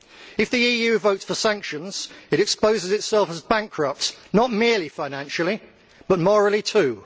If the EU votes for sanctions it exposes itself as bankrupt not merely financially, but morally too.